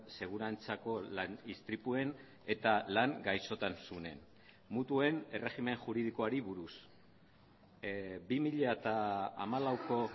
segurantzako lan istripuen eta lan gaixotasunen mutuen erregimen juridikoari buruz bi mila hamalauko